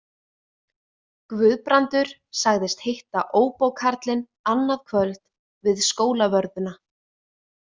Guðbrandur sagðist hitta óbókarlinn annað kvöld við Skólavörðuna.